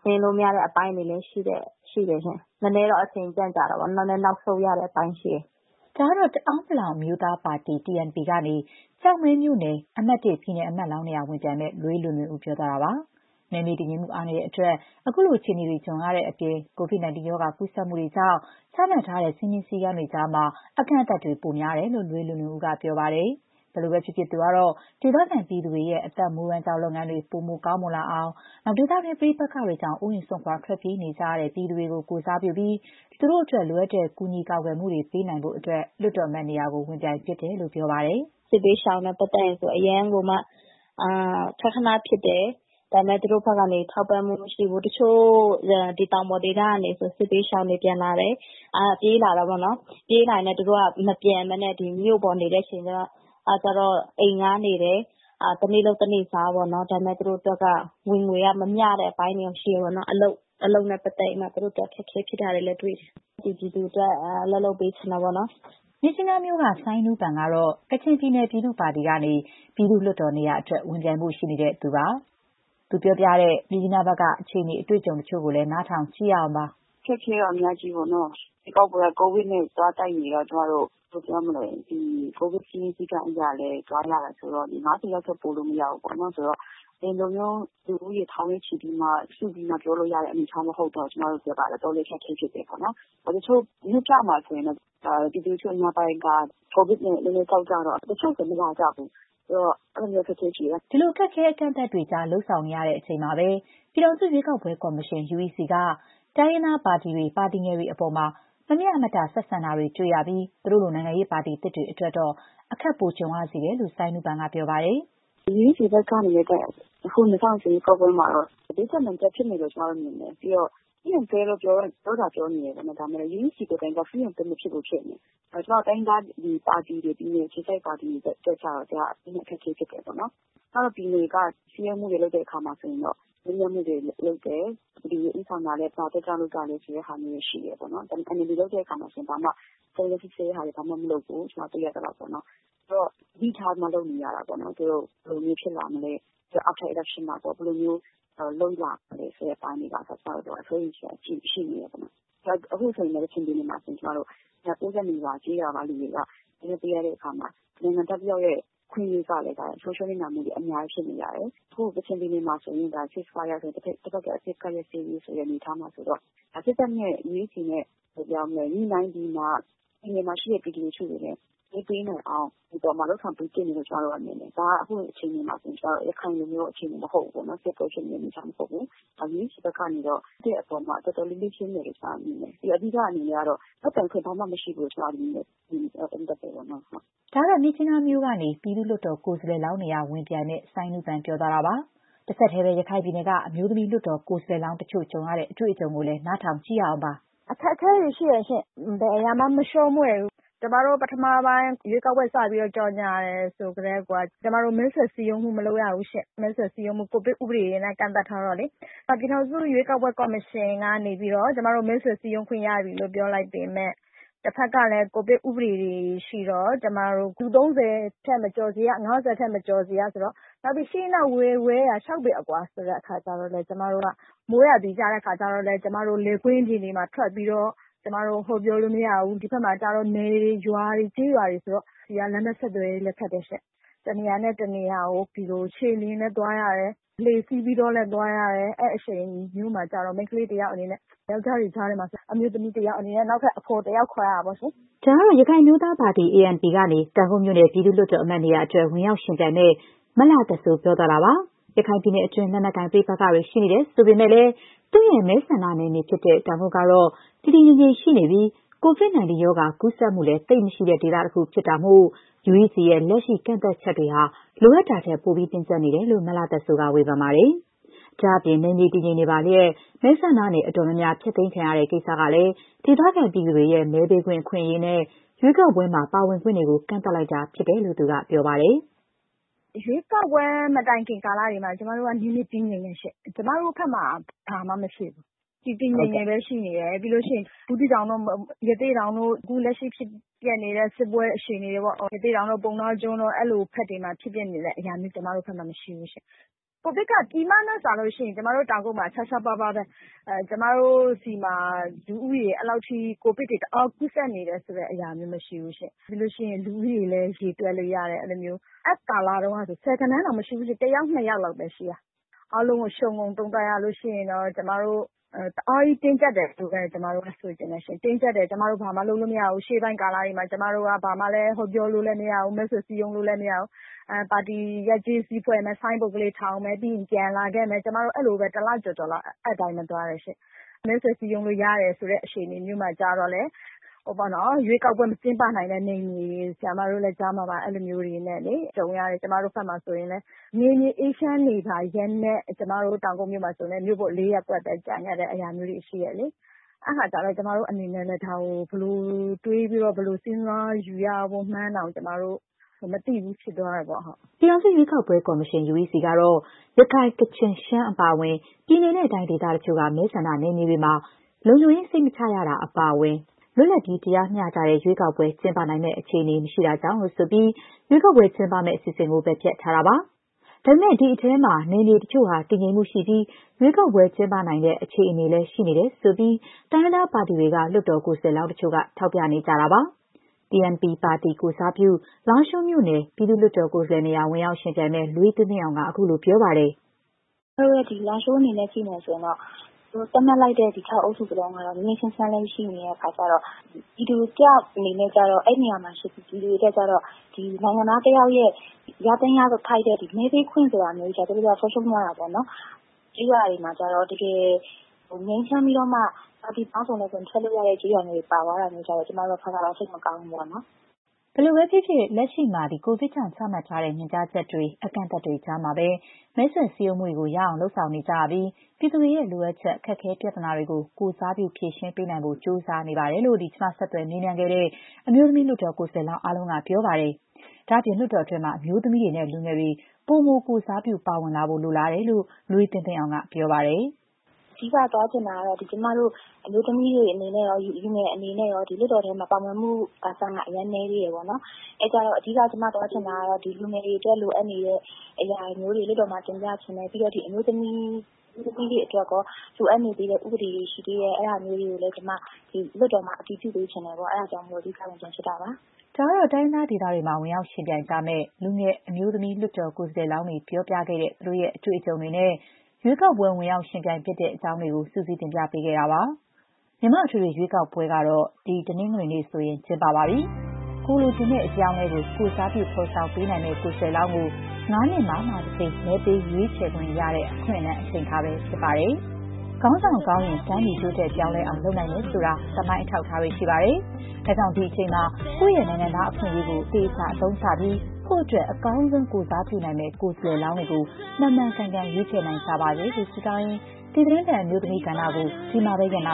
ဆင်းလို့ မရတဲ့အပိုင်းတွေလည်း ရှိတယ်ရှင့်။ နည်းနည်းတော့ အချိန် ကြန့်ကြာတာပေါ့။ နည်းနည်း နောက်ဆုတ်ရတဲ့အပိုင်းရှိတယ်။” ဒါကတော့ တအာင်း အမျိုးသားပါတီ ကနေ ကျောက်မဲမြို့နယ် အမှတ် ပြည်နယ်အမတ်လောင်းနေရာ ဝင်ပြိုင်မယ့် လွေးလွင်လွင်ဦး ပြောသွားတာပါ။ နယ်မြေတည်ငြိမ်မှုအားနည်းတဲ့အတွက် ခုလို အခြေအနေတွေ ကြုံရတဲ့အပြင် COVID 19 ရောဂါ ကူးစက်မှုတွေကြောင့် ချမှတ်ထားတဲ့ စည်းမျဉ်းစည်းကမ်းတွေကြားမှာ မဲဆွယ်စည်းရုံးမှုတွေကတော့ အကန့်အသတ် ပိုများတယ်လို့ လွေးလွင်လွင်ဦးက ပြောပါတယ်။ ဘယ်လိုပဲဖြစ်ဖြစ် သူကတော့ ဒေသခံပြည်သူတွေရဲ့ အသက်မွေးဝမ်းကြောင်းလုပ်ငန်းတွေ ပိုမို ကောင်းမွန်လာအောင်၊ ဒေသတွင်း ပဋိပက္ခတွေကြောင့် အိုးအိမ်စွန့်ခွာ ထွက်ပြေးနေကြရတဲ့ ပြည်သူတွေကို ကိုယ်စားပြုပြီး လိုအပ်တဲ့ ကူညီကာကွယ်မှုတွေ ပေးနိုင်ဖို့အတွက် လွှတ်တော်အမတ်နေရာ ဝင်ပြိုင်ဖြစ်တာလို့ ပြောပါတယ်။ “ဒီဘက်မှာက စစ်ဘေးရှောင်ကိစ္စဆိုရင် အရမ်းကိုမှ ခနခန ဖြစ်တယ်။ ဒါပေမဲ့ ထောက်ပံ့မှု မရှိဘူး။ တချို့ ဒီတောင်ပေါ်ဒေသကနေဆိုရင် စစ်ဘေးရှောင်တွေ ပြန်လာတယ်။ ပြေးလာတာပေါ့နော်။ ပြေးလာရင်းနဲ့ သူတို့က မပြန်ဘဲ ဒီမြို့ပေါ်မှာပဲ နေတဲ့အချိန်ကျတော့ အိမ်ငှားနေတယ်။ တနေ့လုပ် တနေ့စားပေါ့နော်။ ဒါပေမဲ့ သူတို့အတွက် ဝင်ငွေက မမ ျှတဲ့အပိုင်းတွေ ရှိတယ်ပေါ့နော်။ အလုပ်နဲ့ပတ်သက်ပြီးတော့မှ သူတို့အတွက် အခက်အခဲ ဖြစ်တာတွေလည်း တွေ့တယ်။ ဒီလို ပြည်သူတွေအတွက် အလုပ် လုပ်ပေးချင်တယ်။” မြစ်ကြီးနားမြို့ က ဆိုင်းနူးပန် ကတော့ ကချင်ပြည်နယ် ပြည်သူ့ပါတီ ကနေ ပြည်သူ့လွှတ်တော်နေရာအတွက် ဝင်ပြိုင်ဖို့ ရှိနေသူပါ။ သူ ပြောပြတဲ့ မြစ်ကြီးနားဘက်က အခြေအနေ အတွေ့အကြုံတချို့ကိုလည်း နားထောင်ကြည့်ရအောင်ပါ။ “အခက်အခဲကတော့ အများကြီးပေါ့နော်။ ရွေးကောက်ပွဲက ကိုဗစ်နဲ့ သွားတိုက်နေတော့ ကျမတို့ ဘယ်လိုပြောမလဲ ဒီကိုဗစ် စည်းမျဉ်း စည်းကမ်းအရလည်း သွားရတာဆိုတော့ လူ ၅၀ ထက် ပိုလို့ရမဘူးပေါ့နော်။ ဆိုတော့ လူဦးရေ ထောင်နဲ့ချီပြီးမှ စုပြီးပြောလို့ရတဲ့ အနေအထား မဟုတ်တော့ ကျမတို့အတွက်က တော်တော်လေး အခက်အခဲ ဖြစ်တယ်ပေါ့နော်။ တချို့ မြို့ပြမှာ ဆိုရင် ပြည်သူလူထု အများစုက ကိုဗစ်နဲ့ နည်းနည်းကြောက်ကြတော့ တချို့ဆို မလာကြဘူး။ အဲ့ဒီတော့ အဲ့ဒီလို အခက်အခဲတွေ ရှိတယ်။” ဒီလို အခက်အခဲ အကန့်အသတ်တွေကြား လုပ်နေရချိန်မှာပဲ ပြည်ထောင်စု ရွေးကောက်ပွဲကော်မရှင် UEC က တိုင်းရင်းသားပါတီတွေ၊ ပါတီငယ် တွေအပေါ် မမ ျှမတ ဆက်ဆံ ရှိနေတာ တွေ့ရပြီး သူတို့လို နိုင်ငံရေးပါတီသစ်တွေအတွက်တော့ အခက် ပိုကြုံစေတယ်လို့လည်း ဆိုင်းနူးပန် က ပြောပါတယ်။ “UEC ဘက်ကနေ အခု ၂၀၂၀ ရွေးကောက်ပွဲမှာတော့ ဘေးကျပ်နံကျပ် ဖြစ်နေတယ်လို့ ကျမတို့ မြင်တယ်။ ပြီးတော့ free and fair လို့ ပြောသာပြောနေတယ်။ ဒါပေမဲ့ UEC ဘက်က free and fair မဖြစ်ဘူး ဖြစ်နေတယ်။ ကျမတို့ ပါတီတွေ၊ ပြည်နယ်အခြေစိုက် ပါတီတွေ အတွက်ကျတော့ နည်းနည်း အခက်အခဲ ဖြစ်တယ်ပေါ့။ ကျမတို့ပြည်နယ်က စည်းရုံးမှုတွေ လုပ်တဲ့အခါမှာ မေးမြန်းမှုတွေ လုပ်တယ်။ ဘယ်သူတွေ ဦးဆောင်တာလဲ။ ဘာအတွက်ကြောင့် လုပ်တာလဲဆိုတဲ့ဟာမျိုးတွေ ရှိတယ်။ ဒါပေမဲ့ NLD လုပ်တဲ့အခါဆိုရင် ဘာမှစုံစမ်းစစ်ဆေးတာတွေ ဘာမှမလုပ်ဘူး။ ကျမတို့ တွေ့ရသလောက်ပေါ့နော်။ ဆိုတော့ သတိထားပြီး လုပ်နေရတာပေါ့နော်။ သူတို့ ဘယ်လိုမျိုး ဖြစ်လာမလဲ။ ရွေးကောက်ပွဲပြီးရင်ရော ဘယ်လိုမျိုး လုပ်လာမလဲ ဆိုတာတွေ အပေါ်မှာပါအစ စိုးရိမ်စရာရှိနေတယ်ပေါ့နော်။ အခုဆိုရင် ကချင်ပြည်နယ်မှာဆိုရင် ကျမတို့ ရွာ ၉၂ ရွာက ကျေးရွာကလူတွေက မဲပေးခွင့် မရတဲ့အခါမှာ နိုင်ငံသားတယောက်ရဲ့ အခွင့်အရေးကလည်း ဆုံးရှုံးနစ်နာမှုတွေ အများကြီး ဖြစ်နေရတယ်။ အခု ကချင်ပြည်နယ်မှာဆိုရင် ceasefire တဘက်သတ် အပစ်အခတ် ရပ်စဲရေး အနေအထားမှာဆိုတော့ စစ်တပ်နဲ့ UEC နဲ့ ညှိနှိုင်းပြီးမှ ကချင်ပြည်နယ်မှာ ရှိတဲ့ ပြည်သူလူထုတွေလည်း မဲပေးနိုင်အောင် လုပ်ဆောင်ပေးသင့်တယ်လို့ ကျမတို့ထင်တယ်။ ဒါက အခု အခြေအနေမှာဆိုရင် ရခိုင်လိုမျိုး အခြေအနေမဟုတ်ဘူး။ စစ်ပွဲဖြစ်နေတဲ့ အနေအထား မဟုတ်ဘူး။ ဒါ UEC ဘက်ကနေတော့ လုပ်ကိုင်တဲ့နေရာမှာ တော်တော်လေး လစ်ဟင်းတယ်လို့ ကျမ မြင်တယ်။ အဓိက အနေနဲ့ကတော့ လုပ်ပိုင်ခွင့် ဘာမှမရှိဘူးလို့ မြင်တယ်။ သုံးသပ်တယ်ပေါ့နော်။” ဒါကတော့ မြစ်ကြီးနားမြို့ကနေ ပြည်သူ့လွှတ်တော် ကိုယ်စားလှယ်လောင်းနေရာ ဝင်ပြိုင်မယ့် ဆိုင်းနူးပန် ပြောသွားတာပါ။ တဆက်တည်းပဲ ရခိုင်ပြည်နယ်က အမျိုးသမီး လွှတ်တော် ကိုယ်စားလှယ်လောင်းတချို့ ကြုံရတဲ့ အတွေ့အကြုံကိုလည်း နားထောင်ကြည့်ရအောင်ပါ။ “အခက်အခဲတွေ ရှိတယ်ရှင့်။ ဘယ်အရာမှာ မချောမွေ့ဘူး။ ကျမတို့ ပထမပိုင်း ရွေးကောက်ပွဲ စပြီးတော့ ကြော်ငြာတယ်ဆိုကတည်းကိုက အဲ့ဒီအချိန်ကတည်းက ဘာလဲဆိုတော့ ကျမတို့ မဲဆွယ်စည်းရုံးမှု မလုပ်ရဘူးရှင့်။ ကိုဗစ် ဥပဒေတွေနဲ့ ကန့်သတ်ထားတော့လေ။ ပြည်ထောင်စု ရွေးကောက်ပွဲ ကော်မရှင်ကနေ ပြီးတော့ ကျမတို့ မဲဆွယ်စည်းရုံးခွင့် ရပြီလို့ ပြောလိုက်ပေမဲ့ တဘက်ကလည်း ကိုဗစ် ဥပဒေတွေ ရှိတော့ ကျမတို့ လူ ၃၀ ထက် မကျော်စေရ၊ ၅၀ ထက် မကျော်စေရ ဆိုတော့။ နောက်ပြီး ရှေ့နောက် ဝဲယာ ၆ ပေအကွာ ဆိုတဲ့အခါကျတော့။ ကျမတို့က မိုးရာသီကျရင်လည်း ကျမတို့ လယ်ကွင်းပြင်တွေမှာ ထွက်ပြီးတော့ ကျမတို့ ဟောပြောလို့မရဘူး။ ဒီဘက်မှာကျတော့ နယ်တွေ ရွာတွေ၊ ကျေးရွာတွေ ဆိုတော့ လမ်းပန်းဆက်သွယ်ရေးလည်း ခက်တယ်ရှင့်။ တနေရာနဲ့ တနေရာကို ခြေလျင်လည်း သွားရတယ်။ လှေစီးပြီးတောလည်း သွားရတယ်။ အဲ့ဒီလို အချိန်မျိုးမှာကျတော့ မိန်းခလေး တယောက် အနေနဲ့ ယောက်ျားတွေ ကြားထဲမှာကျတော့ အမျိုးသမီးတယောက် နောက်ထပ် အဖော်တယောက် ခေါ်ရတာပေါ့လေ။” ဒါကတော့ ရခိုင်အမျိုးသားပါတီ ကနေ တောင်ကုတ်မြို့နယ် ပြည်သူ့လွှတ်တော်အမတ် နေရာအတွက် ဝင်ရောက်ယှဉ်ပြိုင်မယ့် မလှသက်စိုး ပြောသွားတာပါ။ ရခိုင်ပြည်နည်တွင်း လက်နက်ကိုင် ပဋိပက္ခတွေ ရှိနေတယ်ဆိုပေမဲ့လည်း၊ သူ့ရဲ့ မဲဆန္ဒနယ်မြေဖြစ်တဲ့ တောင်ကုတ် ကတော့ တည်တည်ငြိမ်ငြိမ်ရှိနေပြီး COVID 19 ရောဂါ ကူးစက်မှုလည်း သိပ် မရှိတဲ့ ဒေသတခု ဖြစ်တာမို့ UEC ရဲ့ လက်ရှိကန့်သတ်ချက်တွေဟာ လိုအပ်တာထက် ပိုပြီး တင်းကျပ်နေတယ်လို့ မလှသက်စိုးက ဝေဖန်ပါတယ်။ ဒါ့အပြင် နယ်မြေတည်ငြိမ်နေပါလျက် မဲဆန္ဒနယ် အတော်များများ ဖျက်သိမ်းတဲ့ကိစ္စကလည်း ဒေသခံပြည်သူတွေရဲ့ မဲပေးခွင့် အခွင့်အရေးနဲ့ ရွေးကောက်ပွဲမှာ ပါဝင်ခွင့်တွေကို ကန့်သတ်လိုက်တာဖြစ်တယ်လို့ သူက ပြောပါတယ်။ “ရွေးကောက်ပွဲ မတိုင်ခင်ကာလတွေမှာ နယ်မြေ တည်ငြိမ်တယ်ရှင့်။ ကျမတို့ဘက်မှာ ဘာမှမဖြစ်ဘူး။ တည်တည်ငြိမ်ငြိမ်ပဲ ရှိနေတယ်။ ပြီးလို့ရှိရင် ဘူးသီးတောင်တို့၊ ရသေ့တောင်တို့၊ အခုလက်ရှိ ဖြစ်ပျက်နေတဲ့ စစ်ပွဲ အခြေအနေတွေပေါ့။ ရသေ့တောင်တို့ ပုဏ္ဏားကျွန်းတို့ဘက်မှာ ဖြစ်ပျက်နေတဲ့အရာမျိုး ကျမတို့ဘက်မှာ မရှိဘူး။ ကိုဗစ်ကလည်း ပြည်မနဲ့စာလို့ရှိရင် ကျမတို့ တောင်ကုတ်မှာ ရှားရှားပါးပါးပဲ။ ကျမတို့ ဒီမှာ လူဦးရေ အဲ့လောက်ထိ ကိုဗစ်တွေ တအား ကူးစက်နေတဲ့အရာမျိုး မရှိဘူးရှင့်။ ပြီးလို့ရှိရင် လူဦးရေလည်း ရေတွက်လို့ရတယ်။ အဲ့ဒီကာလတုန်းကဆိုရင် ဆယ် ဂဏန်းတောင်မရှိဘူး။ တယောက် နှစ်ယောက်လောက်ပဲ ရှိတာ။ အခု လက်ရှိဖြစ်ပျက်နေတဲ့ အခြေအနေ အားလုံးကို ခြုံငုံသုံးသပ်ရလို့ရှိရင်တော့ ကျမတို့ တအားကြီးတင်းကျပ်တယ်လို့ပဲ ကျမတို့ မြင်တယ်ရှင့်။ တင်းကျပ်တယ်။ ကျမတို့ ဘာမှ လုပ်လို့မရဘူး။ ရှေ့ပိုင်းကာလတွေမှာ ကျမတို့က ဘာမှလည်း ဟောပြောလို့လည်း မရဘူး။ မဲဆွယ် စည်းရုံးလို့လည်း မရဘူး။ ပါတီ ရပ်ကျေး စည်း ဖွဲ့မယ်။ ဆိုင်းဘုတ်ကလေး ထောင်မယ်။ ပြီးရင် ပြန်လာခဲ့မယ်။ ကျမတို့ အဲ့ဒီလိုပဲ တလကျော်ကျော်လောက် အဲ့အတိုင်းပဲ သွားခဲ့ရတယ်ရှင့်။ မဲဆွယ်စည်းရုံးလို့ ရတယ်ဆိုတဲ့ အခြေအနေမျိုးမှာ ကျတော့လည်း ရွေးကောက်ပွဲ မကျင်းပနိုင်တဲ့နယ်မြေတွေ၊ ဆရာမတို့လည်း ကြားမှာပါ။ အဲ့ဒီလိုတွေနဲ့ ကြုံရတယ်။ ကျမတို့ဘက်မှာဆိုရင်လည်း နယ်မြေ အေးချမ်းနေပါလျက်နဲ့ ကျမတို့ တောင်ကုတ်မြို့မှာလည်း မြို့ပေါ် ၄ ရပ်ကွက်ပဲ ကျန်ခဲ့တာဟာမျိုးတွေ ရှိတယ်လေ။ အဲ့အခါကျတော့ ကျမတို့အနေနဲ့လည်း ဒါကို ဘယ်လိုတွေးပြီးတော့ ဘယ်လိုစဉ်းစားယူရမှန်းတောင် မသိဘူး ဖြစ်သွားတာပေါ့။” ပြည်ထောင်စုရွေးကောက်ပွဲ ကော်မရှင် UEC ကတော့ ရခိုင်၊ ကချင်၊ ရှမ်း အပါအဝင် ပြည်နယ်နဲ့တိုင်းဒေသ တချို့က မဲဆန္ဒနယ်မြေတွေမှာ လုံခြုံရေး စိတ်မချရတာ အပါအဝင် လွတ်လပ်ပြီး တရားမ ျှတတဲ့ ရွေးကောက်ပွဲ ကျင်းပနိုင်မယ့် အခြေအနေ မရှိတာကြောင့်လို့ ဆိုပြီး ရွေးကောက်ပွဲကျင်းပမယ့် အစီအစဉ်ကို ပယ်ဖျက်ထားတာပါ။ ဒါပေမဲ့ ဒီအထဲမှာ နယ်မြေတချို့ဟာ တည်ငြိမ်မှုရှိပြီး ရွေးကောက်ပွဲ ကျင်းပနိုင်တဲ့ အခြေအနေလည်း ရှိနေတယ်ဆိုပြီး တိုင်းရင်းသားပါတီတွေနဲ့ လွှတ်တော် ကိုယ်စားလှယ်လောင်းတချို့က ထောက်ပြ နေကြတာ ဖြစ်ပါတယ်။ TNP ပါတီ ကိုယ်စားပြု လားရှိုးမြို့နယ် ပြည်သူ့လွှတ်တော်ကိုယ်စားလှယ်နေရာ ဝင်ရောက်ယှဉ်ပြိုင်မယ့် လွေးသင်းသင်းအောင်က ခုလို ပြောပါတယ်။ “ကျမတို့ရဲ့ လားရှိုးအနေနဲ့ကြည့်မယ်ဆိုရင်တော့ အခု သတ်မှတ်လိုက်တဲ့ ၆ အုပ်စု စလုံးက ငြိမ်းငြိမ်းချမ်းချမ်းလည်း ရှိနေတဲ့အခါကျတော့ ပြည်သူ တယောက် အနေနဲ့ ကျတော့၊ အဲ့ဒီနေရာမှာရှိနေတဲ့ ပြည်သူ တယောက်အနေနဲ့ကျတော့ နိုင်ငံသားတယောက်ရဲ့ ရသင့်ရထိုက်တဲ့ မဲပေးခွင့်ဆိုတာ ဆုံးရှုံးသွားတာပေါ့နော်။ တချို့ ကျေးရွာတွေမှာကျတော့ တကယ် ငြိမ်းချမ်းပြီးတော့မှ ပါတီပေါင်းစုံလည်း ဝင်ထွက်လို့ရတဲ့ ကျေးရွာမျိုးတွေ ပါသွားတာကျတော့ ကျမတို့က တော်တော်ကို စိတ်မကောင်းဘူးပေါ့။” ဘယ်လိုပဲဖြစ်ဖြစ် လက်ရှိမှာ ကိုဗစ်ကြောင့် ချမှတ်ထားတဲ့ ညွှန်ကြားချက်တွေ၊ အကန့်အသတ်တွေကြားမှာပဲ မဲဆွယ်စည်းရုံးမှုတွေ ရအောင် လုပ်ဆောင်နေကြရပြီး ပြည်သူတွေရဲ့ လိုအပ်ချက်၊ အခက်အခဲ ပြဿနာတွေကို ကိုယ်စားပြု ဖြေရှင်းပေးနိုင်ဖို့ ကြိုးစားနေပါတယ်လို့ ကျမ ဆက်သွယ် မေးမြန်းခဲ့တဲ့ အမျိုးသမီး လွှတ်တော် ကိုယ်စားလှယ်လောင်း အားလုံးက ပြောဆိုကြပါတယ်။ ဒါ့အပြင် လွှတ်တော်တွင်းမှာ အမျိုးသမီးတွေနဲ့လူငယ်တွေ ပိုမို ကိုယ်စားပြု ပါဝင်လာဖို့ လိုလားတယ်လို့ လွေးသင်းသင်းအောင် က ပြောပါတယ်။ “အဓိက သွားချင်တာကတော့ ကျမတို့ အမျိုးသမီးတွေ အနေနဲ့ရော လူငယ်တွေ အနေနဲ့ရော လွှတ်တော်ထဲမှာ ပါဝင်မှု ရာခိုင်နှုန်းက အရမ်း နည်းသေးတယ်ပေါ့နော်။ အဲ့ဒါကြောင့် အဓိက ကျမ သွားချင်တာ ကတော့ လူငယ်တွေအတွက် လိုအပ်နေတဲ့အရာမျိုးတွေ လွှတ်တော်မှာ တင်ပြချင်တယ်။ ပြီးတော့ အမျိုးသမီးတွေ အတွက်ရော လိုအပ်နေသေးတဲ့ ဥပဒေတွေ ရှိသေးတယ်။ အဲ့ဒါမျိုးတွေကိုလည်း ကျမ လွှတ်တော်မှာ အတည်ပြုပေးချင်တယ်ပေါ့။ အဲ့ဒါကြောင့်မိုလို့ ခုလို ဝင်ပြိုင်ဖြစ်တာပါ။” ဒါကတော့ တိုင်းရင်းသားဒေသတွေမှာ ဝင်ရောက် ယှဉ်ပြိုင်ကြမယ့် လူငယ် အမျိုးသမီး လွှတ်တော်ကိုယ်စားလှယ်လောင်းတွေ ပြောပြတဲ့ သူတို့ရဲ့ အတွေ့အကြုံတွေနဲ့ ရွေးကောက်ပွဲ ဝင်ရောက်ယှဉ်ပြိုင်ဖြစ်တဲ့ အကြောင်းတွေကို စုစည်းတင်ပြပေးခဲ့တာပါ။ မြန်မာ့ အထွေထွေ ရွေးကောက်ပွဲတွေကတော့ ဒီတနင်္ဂနွေဆိုရင် ကျင်းပပါပြီ။ ကိုယ်လိုချင်တဲ့ အပြောင်းအလဲကို ကိုယ်စားပြု ဖော်ဆောင်ပေးနိုင်မယ့် ကိုယ်စားလှယ်လောင်းကို ၅ နှစ်မှာမှ တကြိမ် မဲပေး ရွေးချယ်ခွင့် ရတဲ့ အခွင့်အလမ်း အချိန်အခါပဲ ဖြစ်ပါတယ်။ ခေါင်းဆောင်ကောင်းရင် တိုင်းပြည် တိုးတက်ပြောင်းလဲအောင် လုပ်နိုင်တယ်ဆိုတာ သမိုင်း အထောက်အထားတွေ ရှိပါတယ်။ ဒါကြောင့် ဒီအချိန်မှာ ကိုယ့်ရဲ့ နိုင်ငံသား အခွင့်အရေးကို အသုံးချပြီး ကိုယ့်အတွက် အကောင်းဆုံး ကိုယ်စားပြုနိုင်မယ့် ကိုယ်စားလှယ်လောင်းတွေကို မှန်မှန်ကန်ကန် ရွေးချယ်နိုင်ကြပါစေလို့ ဆုတောင်းရင်း ဒီသီတင်းပတ် အမျိုးသမီးကဏ္ဍကို ဒီမှာပဲ ရပ်နာ